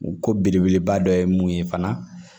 U ko belebeleba dɔ ye mun ye fana